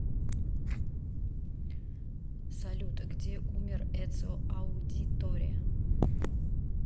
салют где умер эцио аудиторе